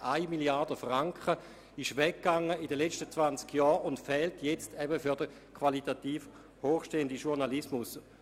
1 Mrd. Franken sind in diesen 20 Jahren weggefallen und fehlen nun eben für den qualitativ hochstehenden Journalismus.